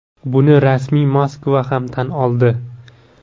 Buni rasmiy Moskva ham tan oldi.